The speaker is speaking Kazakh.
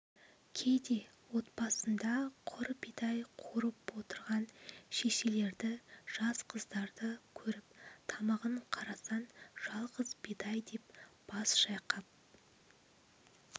кейде отбасында құр бидай қуырып отырған шешелерді жас қыздарды көріп тамағын қарасан жалғыз бидай деп бас шайқап